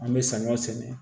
An bɛ samiya sɛnɛ